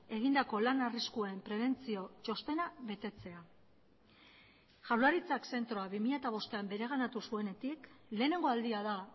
egindako lan arriskuen prebentzio txostena betetzea jaurlaritzak zentroa bi mila bostean bereganatu zuenetik lehenengo aldia da